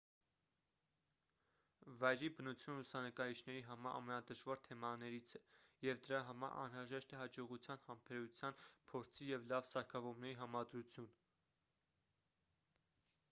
վայրի բնությունը լուսանկարիչների համար ամենադժվար թեմաներից է և դրա համար անհրաժեշտ է հաջողության համբերության փորձի և լավ սարքավորումների համադրություն